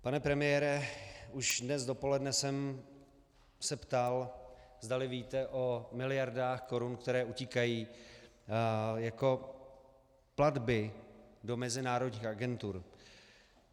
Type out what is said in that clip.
Pane premiére, už dnes dopoledne jsem se ptal, zdali víte o miliardách korun, které utíkají jako platby do mezinárodních agentur.